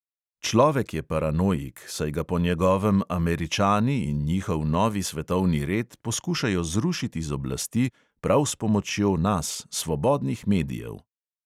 Človek je paranoik, saj ga po njegovem američani in njihov novi svetovni red poskušajo zrušiti z oblasti prav s pomočjo nas, svobodnih medijev.